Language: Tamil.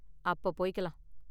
அப்போ போய்க்கலாம்.